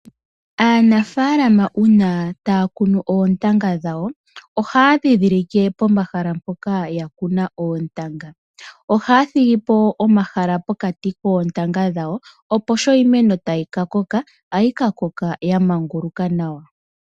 Aanafalama uuna taya kunu oontanga dhawo oha ya dhindhilike pomahala mpoka ya kuna oontanga oha ya thigipo omahala pokati koontanga dhawo opo sho iimeno tayi ka koka oha yi ka koka ya manguluka nawa.